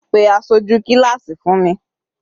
Pe aṣojú kíláásì fún mi.